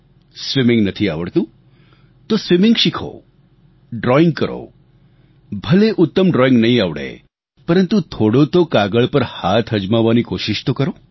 swimming નથી આવડતું તો સ્વિમિંગ શીખો ડ્રોઈંગ કરો ભલે ઉત્તમ ડ્રોઈંગ નહીં આવડે પરંતુ થોડો તો કાગળ પર હાથ અજમાવવાની કોશીશ તો કરો